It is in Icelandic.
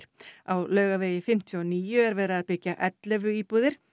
á Laugavegi fimmtíu og níu er verið að byggja ellefu íbúðir